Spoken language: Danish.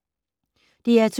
DR2